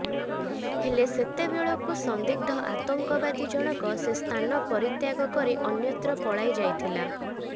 ହେଲେ ସେତେବେଳକୁ ସନ୍ଦିଗ୍ଧ ଆତଙ୍କବାଦୀ ଜଣକ ସେ ସ୍ଥାନ ପରିତ୍ୟାଗ କରି ଅନ୍ୟତ୍ର ପଳାଇ ଯାଇଥିଲା